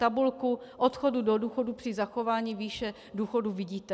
Tabulku odchodu do důchodu při zachování výše důchodu vidíte.